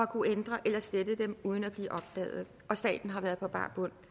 kunnet ændre eller slette dem uden at blive opdaget og staten har været på bar bund